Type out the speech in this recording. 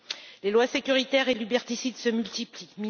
Les lois sécuritaires et liberticides se multiplient.